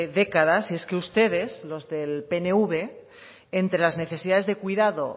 décadas y es que ustedes los del pnv entre las necesidades de cuidado